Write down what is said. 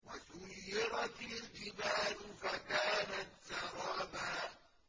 وَسُيِّرَتِ الْجِبَالُ فَكَانَتْ سَرَابًا